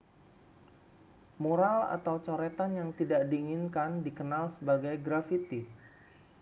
mural atau coretan yang tidak diinginkan dikenal sebagai graffiti